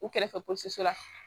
U kɛrɛfɛ polisiw la